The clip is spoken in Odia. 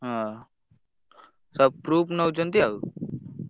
ହଁ ସବୁ proof ନଉଛନ୍ତି ଆଉ।